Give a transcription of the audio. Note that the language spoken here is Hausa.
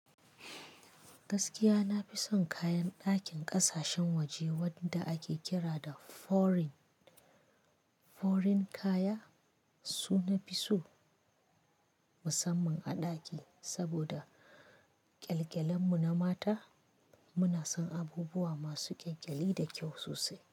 Gaskiya na fi son kayan ɗakin ƙasashen waje wanda ake kira da foreign, foreign kaya su na fi so musamman a ɗaki saboda ƙyalƙyalen mu na mata muna son abubuwa masu ƙyalƙyali da kyau sosai.